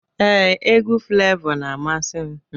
Ee, egwu Flevọ na-amasị m.